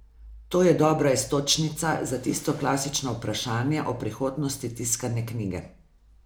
To je dobra iztočnica za tisto klasično vprašanje o prihodnosti tiskane knjige.